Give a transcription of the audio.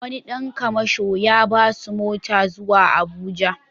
Wani ɗan kamasho ya ba su mota zuwa Abuja.